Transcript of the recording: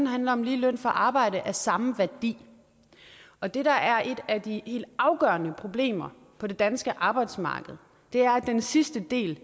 handler om lige løn for arbejde af samme værdi og det der er et af de helt afgørende problemer på det danske arbejdsmarked er at den sidste del